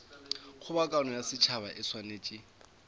kgobokano ya setšhaba e swanetše